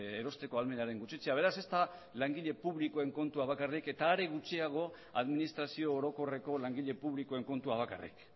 erosteko ahalmenaren gutxitzea beraz ez da langile publikoen kontua bakarrik eta are gutxiago administrazio orokorreko langile publikoen kontua bakarrik